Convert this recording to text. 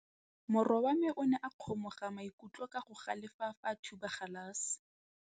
Morwa wa me o ne a kgomoga maikutlo ka go galefa fa a thuba galase.